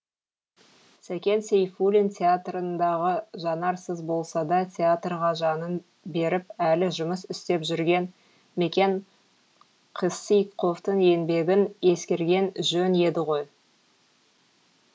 сәкен сейфулин театрындағы жанарсыз болсада театрға жанын беріп әлі жұмыс істеп жүрген мекен қисықовтың еңбегін ескерген жөн еді ғой